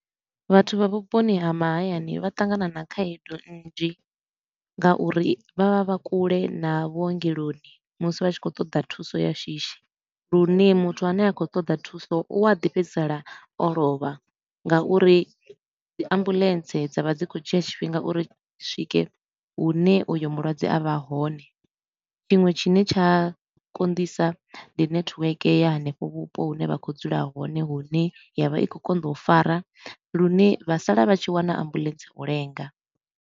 Vhathu vha vhuponi ha mahayani vha ṱangana na khaedu nnzhi nga uri vha vha vha kule na vhuongeloni musi vha tshi khou ṱoḓa thuso ya shishi. Lune muthu a ne a khou ṱoḓa thuso u a ḓi fhedzisela o lovha ngauri ndi ambuḽentse dza vha dzi khou dzhia tshifhinga uri dzi swike hune uyo mulwadze a vha hone. Tshiṅwe tshine tsha konḓisa ndi network ya hanefho vhupo hune vha khou dzula hone hune ya vha i khou konḓa u fara lune vha sala vha tshi wana ambuḽentse u lenga.